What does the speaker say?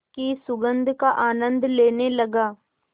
की सुगंध का आनंद लेने लगा